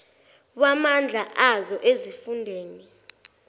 wamandla azo ezifundeni